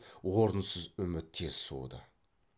орынсыз үміт тез суыды